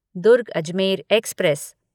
Durg Ajmer express